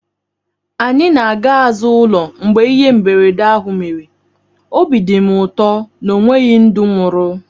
Anyị na-aga azụ ụlọ mgbe ihe mberede ahụ mere, obi dị m ụtọ na ọ nweghị ndụ nwụrụ